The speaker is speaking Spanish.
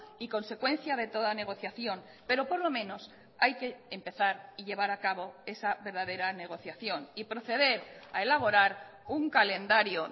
y consecuencia de toda negociación pero por lo menos hay que empezar y llevar a cabo esa verdadera negociación y proceder a elaborar un calendario